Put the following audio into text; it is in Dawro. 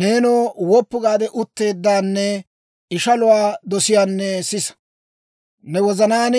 «Neenoo woppu gaade utteeddanne ishaluwaa dosiyaanne, sisa. Ne wozanaan,